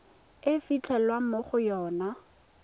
e fitlhelwang mo go yona